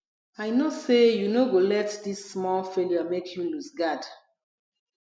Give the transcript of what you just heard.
i know sey you no go let dis small failure make you loose guard